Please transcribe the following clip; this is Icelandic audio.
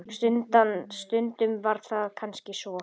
Stundum var það kannski svo.